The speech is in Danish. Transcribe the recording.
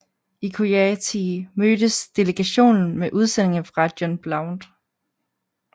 I Coyatee mødtes delegationen med udsendinge fra John Blount